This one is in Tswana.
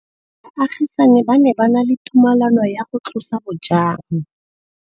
Baagisani ba ne ba na le tumalanô ya go tlosa bojang.